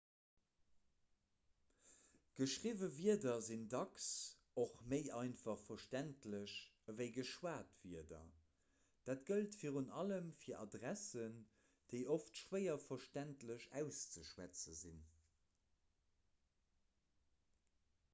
geschriwwe wierder sinn dacks och méi einfach verständlech ewéi geschwat wierder dat gëllt virun allem fir adressen déi oft schwéier verständlech auszeschwätze sinn